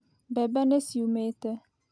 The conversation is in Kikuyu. Mbembe nĩ ciumĩte.